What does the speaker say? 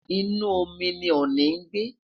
inu omi ni ọọni n gbe